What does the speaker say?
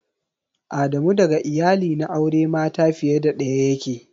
Adamu daga iyali na aure mata fiye da daya yake.